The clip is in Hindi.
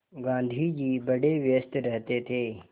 गाँधी जी बड़े व्यस्त रहते थे